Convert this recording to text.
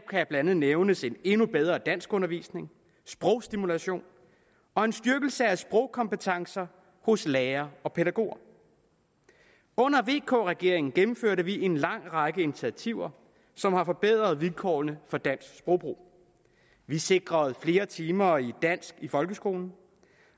blandt andet nævnes en endnu bedre danskundervisning sprogstimulation og en styrkelse af sprogkompetencer hos lærere og pædagoger under vk regeringen gennemførte vi en lang række initiativer som har forbedret vilkårene for dansk sprogbrug vi sikrede flere timer i dansk i folkeskolen